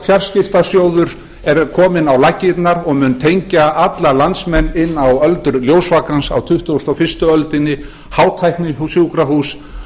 fjarskiptasjóður er kominn á laggirnar og mun tengja alla landsmenn inn á öldur ljósvakans á tuttugustu og fyrstu öldinni hátæknisjúkrahús